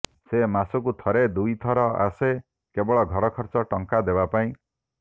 ସେ ମାସକୁ ଥରେ ଦୁଇ ଥର ଆସେ କେବଳ ଘର ଖର୍ଚ୍ଚ ଟଙ୍କା ଦେବା ପାଇଁ